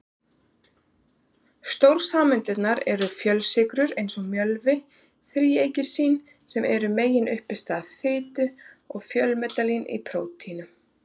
Stórsameindirnar eru fjölsykrur eins og mjölvi, þríglýseríð sem eru meginuppistaða fitu, og fjölpeptíð í prótínum.